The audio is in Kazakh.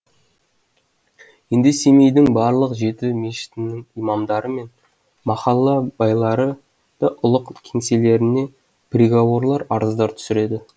енді семейдің барлық жеті мешітінің имамдары мен махалла байлары да ұлық кеңселеріне приговорлар арыздар түсіреді